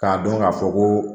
K'a dɔn k'a fɔ ko